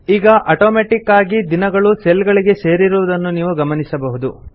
ಈಗ ಅಟೋಮೆಟಿಕ್ ಆಗಿ ದಿನಗಳು ಸೆಲ್ ಗಳಿಗೆ ಸೇರಿರುವುದನ್ನು ನಾವು ಗಮನಿಸಬಹುದು